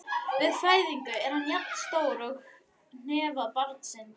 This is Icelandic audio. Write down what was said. Við fæðingu er hann jafn stór hnefa barnsins.